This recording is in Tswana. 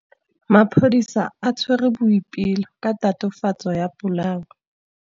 Maphodisa a tshwere Boipelo ka tatofatsô ya polaô.